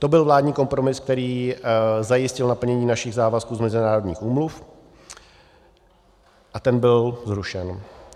To byl vládní kompromis, který zajistil naplnění našich závazků z mezinárodních úmluv, a ten byl zrušen.